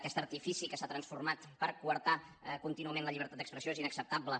aquest artifici que s’ha transformat per coartar contínuament la llibertat d’expressió és inacceptable